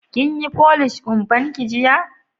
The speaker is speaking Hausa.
Kin yi folish kumban ki jiya?